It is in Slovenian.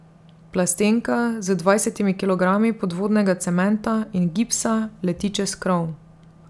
Plastenka z dvajsetimi kilogrami podvodnega cementa in gipsa leti čez krov.